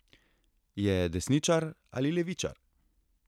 Je desničar ali levičar?